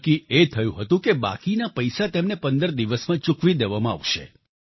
નક્કી એ થયું હતું કે બાકીના પૈસા તેમને પંદર દિવસમાં ચૂકવી દેવામાં આવશે